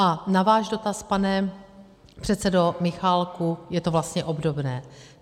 A na váš dotaz, pane předsedo Michálku - je to vlastně obdobné.